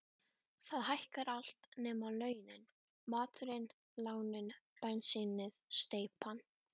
Það hækkar allt nema launin: maturinn, lánin, bensínið, steypan.